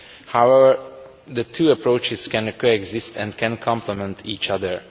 However, the two approaches can coexist and can complement each other.